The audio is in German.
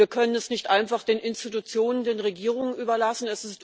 Wir können es nicht einfach den Institutionen, den Regierungen überlassen.